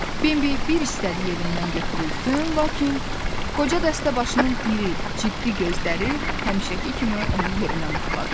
Bambi bir istədiyi yerindən götürülsün, lakin qoca dəstəbaşının iri, ciddi gözləri həmişəki kimi onu yerinə mıxladı.